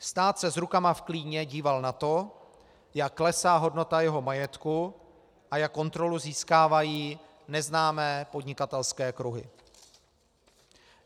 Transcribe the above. Stát se s rukama v klíně díval na to, jak klesá hodnota jeho majetku a jak kontrolu získávají neznámé podnikatelské kruhy.